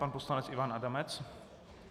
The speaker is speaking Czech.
Pan poslanec Ivan Adamec.